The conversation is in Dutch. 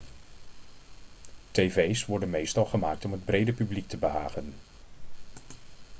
tv's worden meestal gemaakt om het brede publiek te behagen